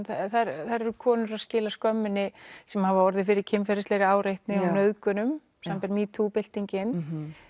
þar eru konur að skila skömminni sem hafa orðið fyrir kynferðislegri áreitni og nauðgunum samanber metoo byltingin